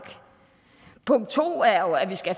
punkt to er jo at vi skal